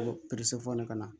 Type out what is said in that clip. ka na